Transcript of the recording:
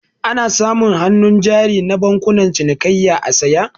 Ana samun hannu jari na bankunan cinikayya a saya